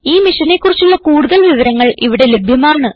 ഈ മിഷനെ കുറിച്ചുള്ള കുടുതൽ വിവരങ്ങൾ ഇവിടെ ലഭ്യമാണ്